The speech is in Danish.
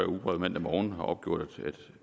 ugebrevet mandag morgen opgjort at